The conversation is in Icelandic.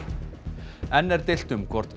enn er deilt um hvort